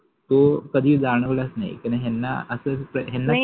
तो कधि जाणवलाच नाहि कारन ह्याना अस तर